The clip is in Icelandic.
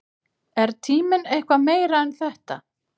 Er tíminn eitthvað meira en þetta?